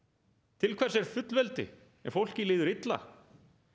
til hvers er fullveldi ef fólki líður illa